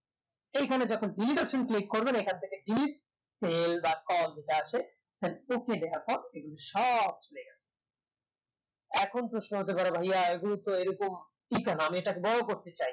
এই খানে যখন select করবেন এখন থেকে click যা আছে অর্থাৎ এগুলো সব চলে যাবে এখন প্রশ্ন হতে পারে ভাইয়া এগুলো তো এরকম কেনো আমি এগুলাকে বরো করতে চাই